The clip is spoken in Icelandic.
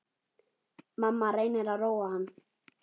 Mamma reynir að róa hann.